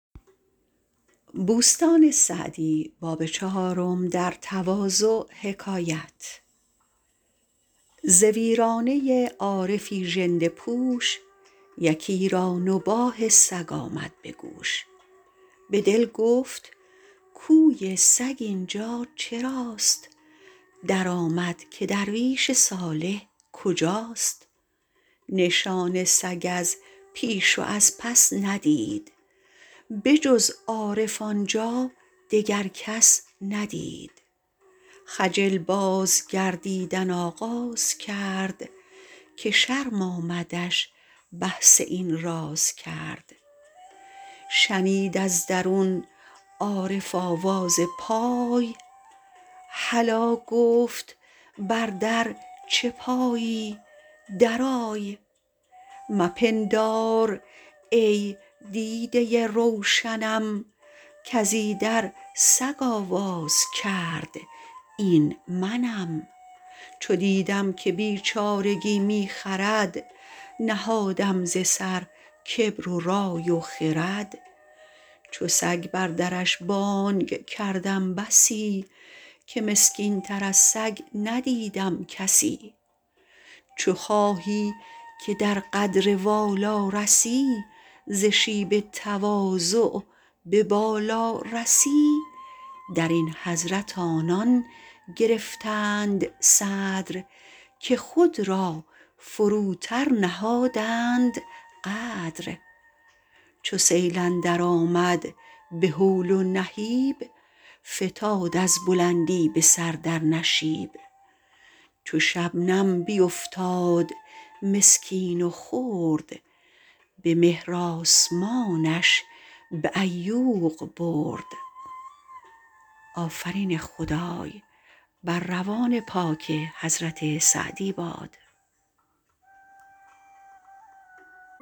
ز ویرانه عارفی ژنده پوش یکی را نباح سگ آمد به گوش به دل گفت گویی سگ اینجا چراست درآمد که درویش صالح کجاست نشان سگ از پیش و از پس ندید به جز عارف آنجا دگر کس ندید خجل باز گردیدن آغاز کرد که شرم آمدش بحث این راز کرد شنید از درون عارف آواز پای هلا گفت بر در چه پایی در آی مپندار ای دیده روشنم کز ایدر سگ آواز کرد این منم چو دیدم که بیچارگی می خرد نهادم ز سر کبر و رای و خرد چو سگ بر درش بانگ کردم بسی که مسکین تر از سگ ندیدم کسی چو خواهی که در قدر والا رسی ز شیب تواضع به بالا رسی در این حضرت آنان گرفتند صدر که خود را فروتر نهادند قدر چو سیل اندر آمد به هول و نهیب فتاد از بلندی به سر در نشیب چو شبنم بیفتاد مسکین و خرد به مهر آسمانش به عیوق برد